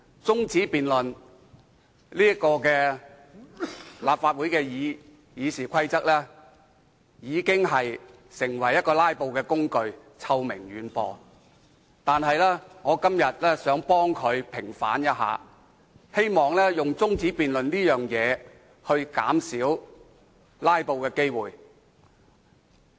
主席，立法會《議事規則》所容許的中止辯論已淪為"拉布"的工具，臭名遠播，但我今天想替其平反，希望藉着動議中止辯論來減少"拉布"。